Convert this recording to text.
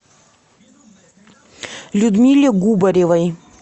людмиле губаревой